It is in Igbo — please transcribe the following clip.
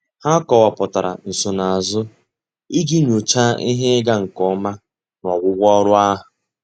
Há kọ́wàpụ̀tárà nsonaazụ iji nyòcháá ihe ịga nke ọma n’ọ́gwụ́gwụ́ ọ́rụ́ ahụ́.